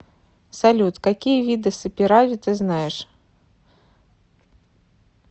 салют какие виды саперави ты знаешь